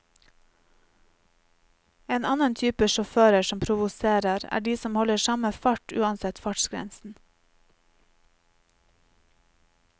En annen type sjåfører som provoserer, er de som holder samme fart uansett fartsgrensen.